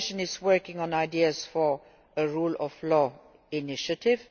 The Commission is working on ideas for a rule of law initiative.